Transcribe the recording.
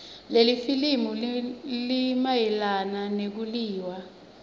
lelifilimu linayelana nekuiwaya